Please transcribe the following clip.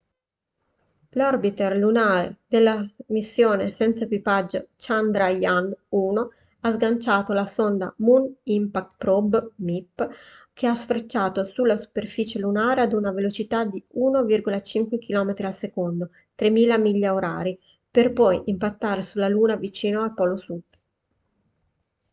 l'orbiter lunare della missione senza equipaggio chandrayaan-1 ha sganciato la sonda moon impact probe mip che ha sfrecciato sulla superficie lunare ad una velocità di 1,5 km/s 3000 miglia/h per poi impattare sulla luna vicino al suo polo sud